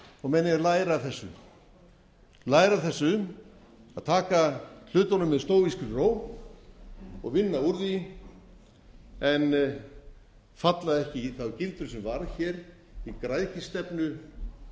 og menn eiga að læra af þessu að taka hlutunum með stóískri ró og vinna úr því en falla ekki í þá gildru sem varð hér